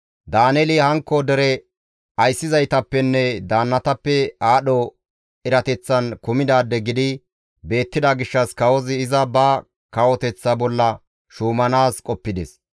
Daaneeli hankko dere ayssizaytappenne daannatappe aadho erateththan kumidaade gidi beettida gishshas kawozi iza ba kawoteththaa bolla shuumanaas qoppides.